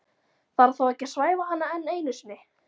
Þarf þá ekki að svæfa hana enn einu sinni?